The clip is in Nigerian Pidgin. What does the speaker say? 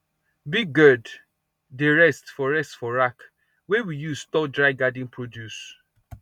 big gourd dey rest for rest for rack wey we use store dry garden produce